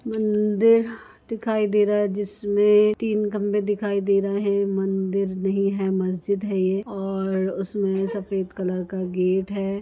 मंदिर दिखाई दे रहा है जिसमें तीन खम्भे दिखाई दे रहे हैं मंदिर नही है मस्जिद है ये और उसमें सफ़ेद कलर का गेट है।